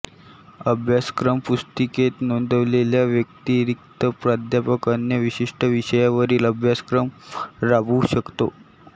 अभ्यासक्रम पुस्तिकेत नोंदवलेल्या व्यतिरिक्त प्राध्यापक अन्य विशिष्ट विषयावरील अभ्यासक्रम राबवू शकतो